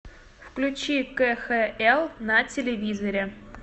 включи кхл на телевизоре